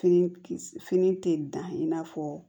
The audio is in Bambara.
Fini kisi fini tɛ dan i n'a fɔ